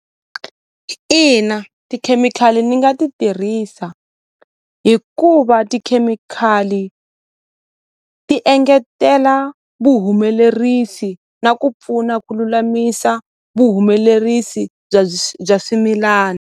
Ina tikhemikhali ni nga ti tirhisa hikuva tikhemikhali ti engetela vuhumelerisi na ku pfuna ku lulamisa vuhumelerisi bya bya swimilana.